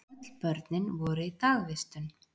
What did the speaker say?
Öll börnin voru í dagvistun.